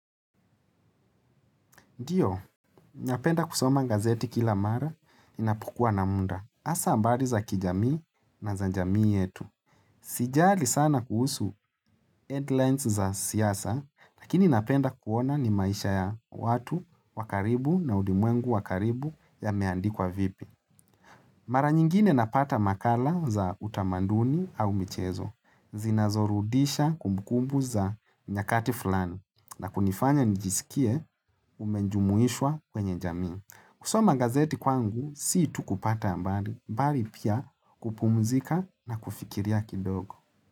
Ndiyo, napenda kusoma gazeti kila mara inapukua na muda. Asa habari za kijamii na za jamii yetu. Sijali sana kuhusu headlines za siyasa, lakini napenda kuona ni maisha ya watu wakaribu na ulimwengu wakaribu ya meandikwa vipi. Mara nyingine napata makala za utamanduni au michezo. Zinazorudisha kumbukumbu za nyakati fulani. Na kunifanya nijisikie umenjumuishwa kwenye jamii. Kusoma gazeti kwangu, siitu kupata habari, ambari pia kupumuzika na kufikiria kidogo.